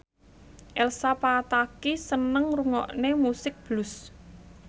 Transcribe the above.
Elsa Pataky seneng ngrungokne musik blues